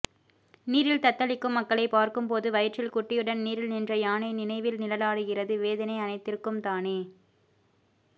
நீரில் தத்தளிக்கும் மக்களை பார்க்கும் போது வயிற்றில் குட்டியுடன் நீரில் நின்ற யானை நினைவில் நிழலாடுகிறது வேதனை அனைத்திற்கும் தானே